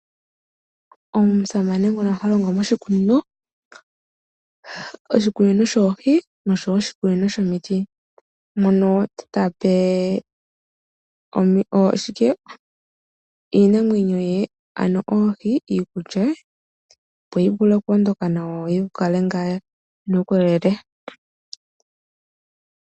Omusamane nguno ha longo moshikunino. Oshikunino shoohi nosho wo oshikunino shomiti, mono ta pe oohi iikulya, opo yi vule oku ondoka nawa yi na uukolele.